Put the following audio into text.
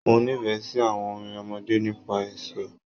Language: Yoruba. Mo nífẹẹ sí àwọn orin ọmọdé nípa èso.